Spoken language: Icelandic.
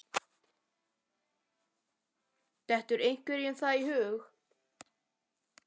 Dettur einhverjum það í hug?